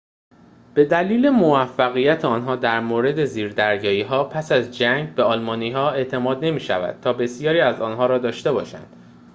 به دلیل موفقیت آنها در مورد زیردریایی‌ها پس از جنگ به آلمانی‌ها اعتماد نمی‌شود تا بسیاری از آن‌ها را داشته باشند